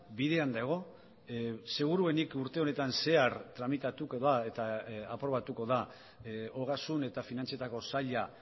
bidean dago seguruenik urte honetan zehar tramitatuko da eta aprobatuko da ogasun eta finantzietako saila